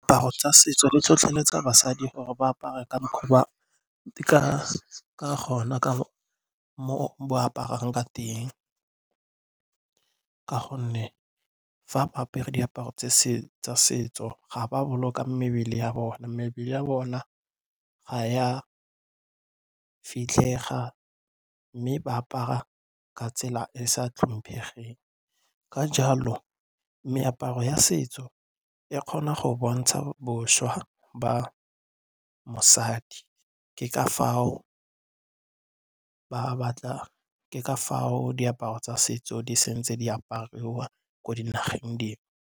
Diaparo tsa setso di tlhotlheletsa basadi gore ba apare ka mokgwa ba ka mo ba aparang ka teng ka gonne fa ba apere diaparo tsa setso ga ba boloka mebele ya bona. Mebele ya bona ga ya fitlhega mme ba apara ka tsela e e sa tlhomphegeng. Ka jalo meaparo ya setso e kgona go bontsha bošwa ba mosadi, ke ka foo diaparo tsa setso di sentse di apariwa ko dinageng dingwe.